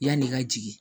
Yanni n ka jigin